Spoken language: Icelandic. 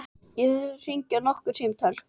Ég þarf að hringja nokkur símtöl.